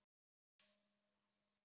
Jónas Hallgrímsson bjó til orð.